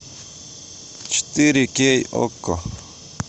четыре кей окко